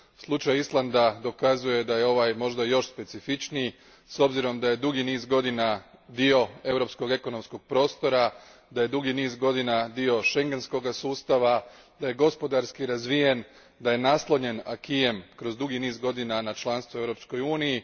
Slučaj Islanda dokazuje da je ovaj možda još specifičniji, s obzirom da je dugi niz godina dio europskog ekonomskog prostora, da je dugi niz godina dio schengenskog sustava, da je gospodarski razvijen, da je naslonjen kroz dugi niz godina na članstvo u Europskoj uniji.